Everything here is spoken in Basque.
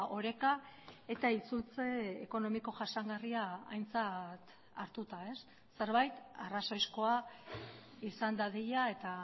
oreka eta itzultze ekonomiko jasangarria aintzat hartuta zerbait arrazoizkoa izan dadila eta